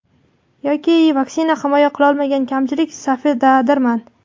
Yoki vaksina himoya qilolmagan kamchilik safidadirman.